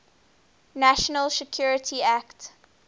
national security act